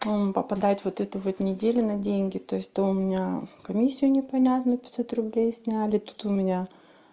попадать вот эту вот неделю на деньги то есть то у меня комиссию непонятную пятьсот рублей сняли то тут у меня